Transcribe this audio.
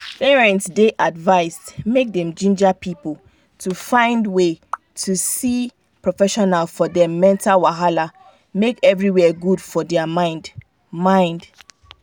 parents dey advised make dem ginger people to find way see professional for dem mental wahala make everywhere good for their mind. mind.